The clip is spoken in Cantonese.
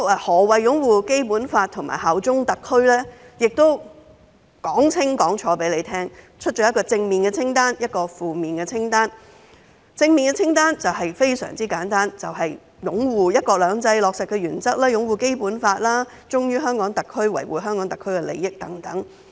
何謂擁護《基本法》及效忠特區呢？條文寫得十分清晰，有一份正面清單和一份負面清單。正面清單非常簡單，就是擁護"一國兩制"原則的落實，擁護《基本法》，忠於香港特區，維護香港特區利益等。